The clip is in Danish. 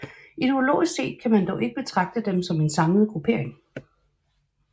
Ideologisk set kan man dog ikke betragte dem som en samlet gruppering